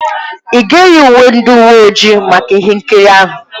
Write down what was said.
Ị ga-eyi uwe ndị uwe ojii maka ihe nkiri ahụ?